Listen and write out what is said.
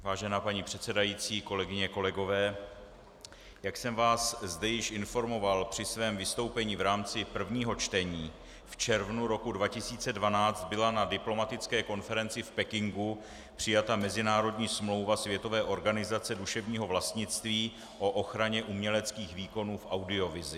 Vážená paní předsedající, kolegyně, kolegové, jak jsem vás zde již informoval při svém vystoupení v rámci prvního čtení, v červnu roku 2012 byla na diplomatické konferenci v Pekingu přijata mezinárodní smlouva Světové organizace duševního vlastnictví o ochraně uměleckých výkonů v audiovizi.